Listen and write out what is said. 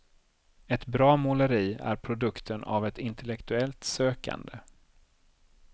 Ett bra måleri är produkten av ett intellektuellt sökande.